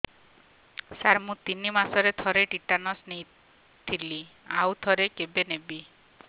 ସାର ମୁଁ ତିନି ମାସରେ ଥରେ ଟିଟାନସ ନେଇଥିଲି ଆଉ ଥରେ କେବେ ନେବି